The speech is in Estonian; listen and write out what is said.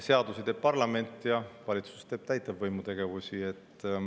Seadusi teeb parlament ja valitsus teeb täitevvõimu tegevusi.